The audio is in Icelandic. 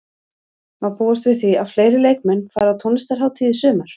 Má búast við því að fleiri leikmenn fari á tónlistarhátíð í sumar?